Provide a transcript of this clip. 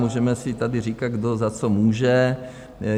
Můžeme si tady říkat, kdo za co může.